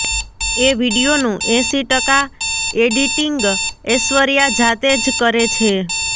એ વિડિયોનું એંસી ટકા એડિટીંગઐશ્વર્યા જાતે જ કરે છે